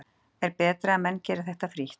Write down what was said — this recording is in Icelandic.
Er betra að menn geri þetta frítt?